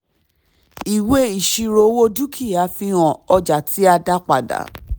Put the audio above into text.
ìwé ìṣirò owó dúkìá fi hàn ọjà tí a dá padà.